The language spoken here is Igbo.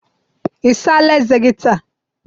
I saala eze gi taa?